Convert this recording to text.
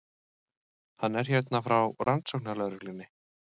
Hann er hérna frá rannsóknarlögreglunni.